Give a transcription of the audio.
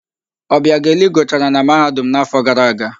Ọbịageli gụchara na Mahadum n'áfọ̀ gara aga.